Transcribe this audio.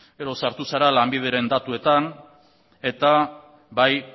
gero sartu zara lanbideren datuetan eta bai